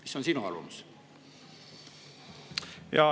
Mis on sinu arvamus?